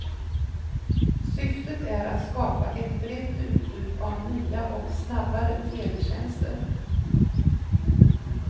Syftet är att skapa ett brett utbud av nya och snabbare teletjänster.